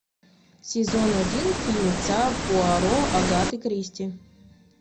сезон один фильмеца пуаро агаты кристи